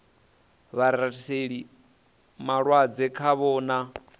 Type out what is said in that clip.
vha rathiseli malwadze khavho na